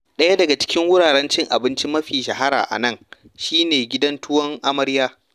Daya daga cikin wuraren cin abinci mafi shahara a nan shi ne Gidan Tuwon Amarya.